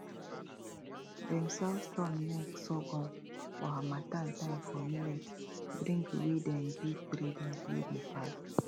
dem sell storm neck sorghum for harmattan time for millet drink wey dem give traders wey dey pass